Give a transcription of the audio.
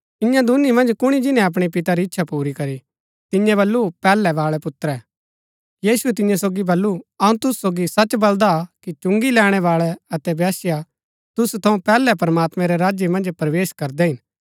ईयां दूनी मन्ज कुणी जिन्‍नै अपणै पिता री इच्छा पुरी करी तिन्यै बल्लू पैहलै बाळै पुत्रै यीशुऐ तियां सोगी बल्लू अऊँ तुसु सोगी सच बलदा कि चुंगी लैणैबाळै अतै वेश्या तुसु थऊँ पैहलै प्रमात्मैं रै राज्य मन्ज प्रवेश करदै हिन